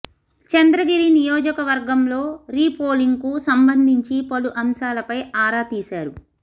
చంద్రగిరి నియోజకవర్గంలో re polling కు సంబంధించి పలు అంశాలపై ఆరా తీశారు